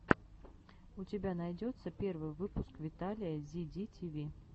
у тебя найдется первый выпуск виталия зи ди ти ви